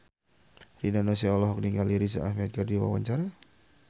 Rina Nose olohok ningali Riz Ahmed keur diwawancara